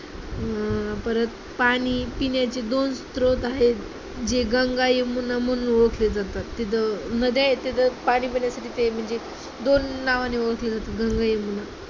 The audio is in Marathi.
अं परत पाणी पिण्याचे दोन स्त्रोत आहेत, जे गंगा, यमुना म्हणून ओळखले जातात, तिथं नद्या आहेत तिथं पाणी पिण्याचे तिथे म्हणजे दोन नावाने ओळखले जातो गंगा, यमुना